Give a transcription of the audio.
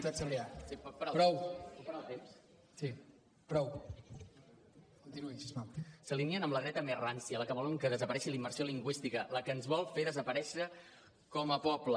pot parar el temps s’alineen amb la dreta més rància la que volen que desaparegui la immersió lingüística la que ens vol fer desaparèixer com a poble